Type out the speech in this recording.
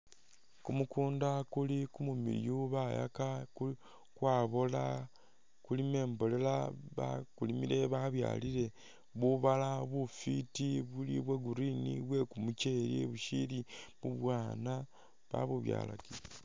Kumukunda kuli kumumiliyu bayaka kwabola kulimu imbolela bakulimile babyalile bubala bufwiti buli bwa green bwe kumucheeli bushili bubwaana babubyalakile.